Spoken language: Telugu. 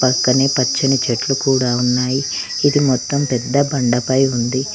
పక్కనే పచ్చని చెట్లు కూడా ఉన్నాయి ఇది మొత్తం పెద్ద బండపై ఉంది